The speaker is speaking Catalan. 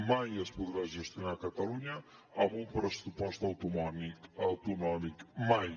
mai es podrà gestionar catalunya amb un pressupost autonòmic mai